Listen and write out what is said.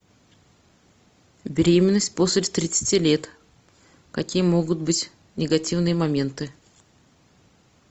беременность после тридцати лет какие могут быть негативные моменты